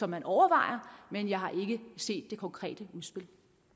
man overvejer men jeg har ikke set det konkrete udspil